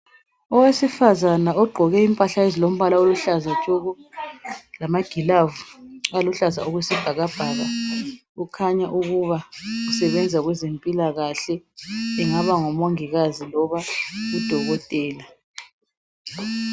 Owesifazana ogqoke impahla ezilompala oluhlaza tshoko lama gloves aluhlaza okwesibhakabhaka kukhanya ukuba usebenza kwezempilakale engaba ngumongikazi kumbe udokotela